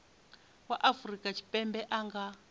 wa afrika tshipembe a nga